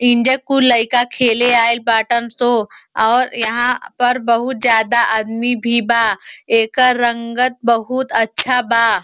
इंजा कुल लईका खेले आइल बाटन सो और यहाँ पर बहुत ज्यादा आदमी भी बा। एकर रंगत बहुत अच्छा बा।